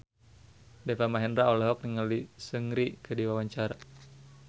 Deva Mahendra olohok ningali Seungri keur diwawancara